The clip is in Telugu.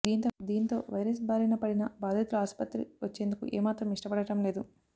దీంతో వైరస్ బారిన పడినా బాధితులు ఆసుపత్రి వచ్చేందుకు ఏ మాత్రం ఇష్టపడడం లేదు